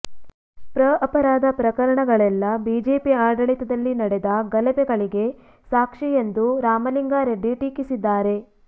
ಪ್ರ ಅಪರಾಧ ಪ್ರಕರಣಗಳೆಲ್ಲಾ ಬಿಜೆಪಿ ಆಡಳಿತದಲ್ಲಿ ನಡೆದ ಗಲಭೆಗಳಿಗೆ ಸಾಕ್ಷಿ ಎಂದು ರಾಮಲಿಂಗಾರೆಡ್ಡಿ ಟೀಕಿಸಿದ್ದಾರೆ